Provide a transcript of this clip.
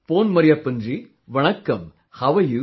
Pon Marriyyapan ji Vannakaam, How are you